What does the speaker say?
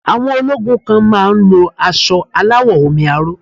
Àwọn ológun kan má á ń lo asọ aláwọ̀ omi aró